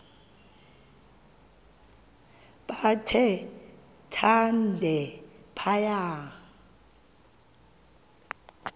bathe thande phaya